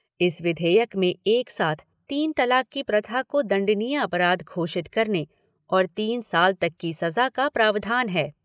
इस विधेयक में एक साथ तीन तलाक की प्रथा को दंडनीय अपराध घोषित करने और तीन साल तक की सजा का प्रावधान है।